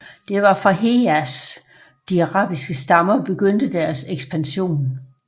Det var fra Hejaz de arabiske stammer begyndte deres ekspansion